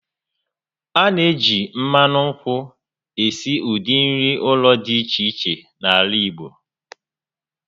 A na-eji mmanụ nkwụ esi ụdị nri ụlọ dị iche iche n'ala Igbo